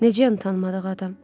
Necə tanımadığım adam?